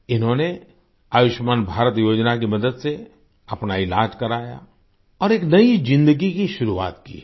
इन्होंने आयुष्मान भारत योजना की मदद से अपना इलाज कराया और एक नयी जिंदगी की शुरुआत की है